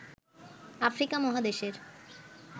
Africa মহাদেশের